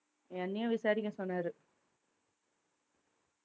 என்னையும் விசாரிக்க சொன்னாரு